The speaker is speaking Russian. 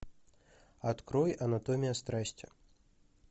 открой анатомия страсти